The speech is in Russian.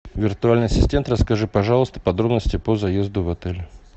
виртуальный ассистент расскажи пожалуйста подробности по заезду в отель